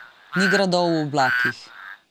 Ni gradov v oblakih.